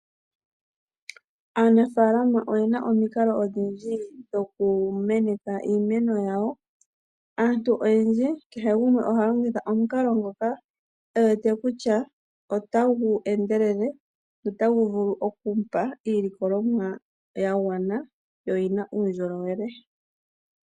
Aanafaalama o ye na omikalo odhindji dho ku meneka iimeno yawo. Aantu oyendji oha ya longitha omikalo dhoka ye wete ta dhi endelele, opo ya vu le oku mona iilikolomwa ya gwana ,yo oyi na uundjolowele.